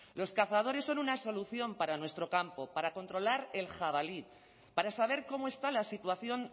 los cazadores son una solución para nuestro campo para controlar el jabalí para saber cómo está la situación